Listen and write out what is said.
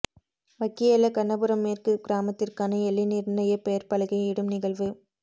வக்கியல்ல கண்ணபுரம் மேற்கு கிராமத்திற்கான எல்லை நிர்ணயப் பெயர்ப் பலகை இடும் நிகழ்வு